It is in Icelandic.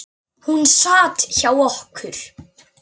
Hún sat hjá okkur